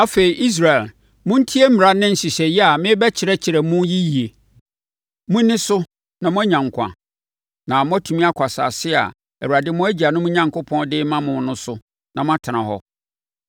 Afei, Israel montie mmara ne nhyehyɛeɛ a merebɛkyerɛkyerɛ mo yi yie. Monni so na moanya nkwa, na moatumi akɔ asase a Awurade mo agyanom Onyankopɔn de rema mo no so na moatena hɔ.